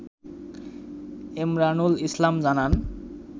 এমরানুল ইসলাম জানান